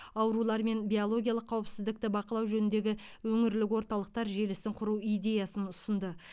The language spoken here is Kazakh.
аурулар мен биологиялық қауіпсіздікті бақылау жөніндегі өңірлік орталықтар желісін құру идеясын ұсынды